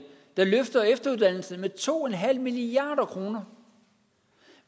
der løfter efteruddannelserne med to milliard kr